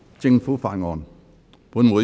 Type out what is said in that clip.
政府法案。